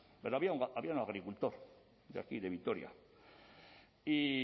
pero había un agricultor de aquí de vitoria y